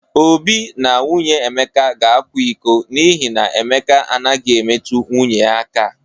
Obi na nwunye Emeka ga-akwa iko n'ihi na Emeka anaghị emetu nwunye ya aka.